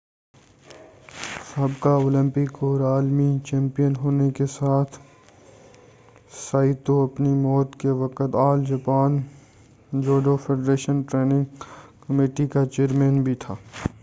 سابقہ اولمپک اور عالمی چیمپئن ہونے کے ساتھ سائتو اپنی موت کے وقت All Japan judo federation training committee کا چیئرمین بھی تھا